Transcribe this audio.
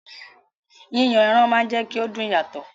Yíyan ẹran máa ń jẹ́kí ó dùn yàtọ̀